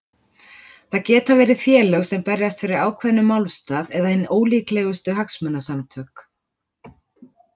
Það geta verið félög sem berjast fyrir ákveðnum málstað eða hin ólíkustu hagsmunasamtök.